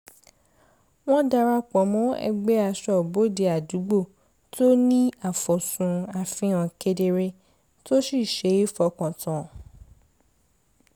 wọ́n darapọ̀ mọ́ ẹgbẹ́ aṣọ́bodè àdúgbò tó ní àfoj́sùn àfihàn kedere tó sì ṣe é fọkàn tán